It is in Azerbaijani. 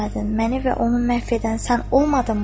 Məni və onu məhv edən sən olmadınmı?